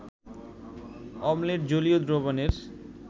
অম্লের জলীয় দ্রবণের